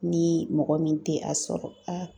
Ni mɔgɔ min tɛ a sɔrɔ a